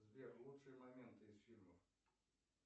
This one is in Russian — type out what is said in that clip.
сбер лучшие моменты из фильмов